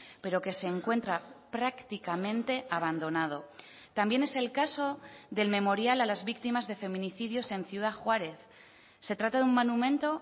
pero que se encuentra prácticamente abandonado también es el caso del memorial a las víctimas de feminicidios en ciudad juárez se trata de un monumento